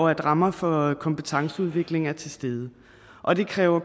at rammerne for kompetenceudvikling er til stede og det kræver